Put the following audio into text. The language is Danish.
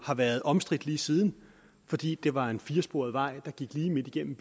har været omstridt lige siden fordi det var en firesporet vej der gik lige igennem